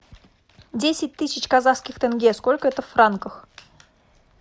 десять тысяч казахских тенге сколько это в франках